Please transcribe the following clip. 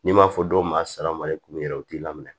N'i m'a fɔ dɔw ma sara mali kun yɛrɛ t'i la